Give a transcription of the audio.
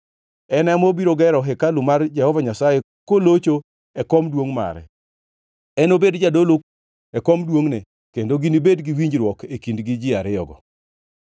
En ema obiro gero hekalu mar Jehova Nyasaye kolocho e kom duongʼ mare. Enobed jadolo e kom duongʼne, kendo ginibed gi winjruok e kindgi ji ariyogo.’